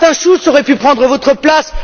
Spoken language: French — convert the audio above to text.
Martin Schulz aurait pu prendre votre place.